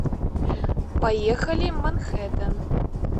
поехали манхэттен